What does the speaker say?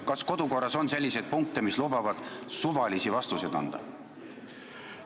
Kas kodukorras on selliseid punkte, mis lubavad suvalisi vastuseid anda?